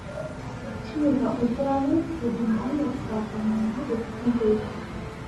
tipika oltuala lai le jumanne saa tomon aare enteipa